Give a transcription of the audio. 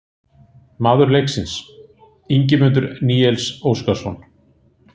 Maður leiksins: Ingimundur Níels Óskarsson